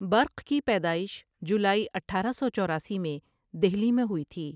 برق کی پیدائش جولائی اٹھارہ سو چوراسی میں دہلی میں ہوئی تھی ۔